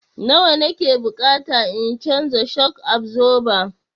Nawa na ke bukata in canza shok absoba?